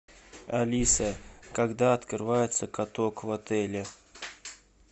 алиса когда открывается каток в отеле